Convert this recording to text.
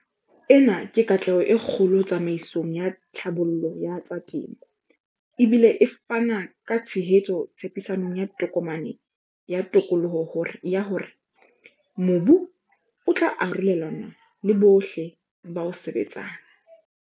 Ena ke katleho e kgolo tsamaisong ya tlhabollo ya tsa temo, e bile e fana ka tshehetso tshepisong ya Tokomane ya Tokoloho ya hore mobu o tla arolelanwa le bohle ba o sebetsang.